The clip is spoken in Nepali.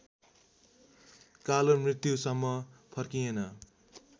कालो मृत्युसम्म फर्किएन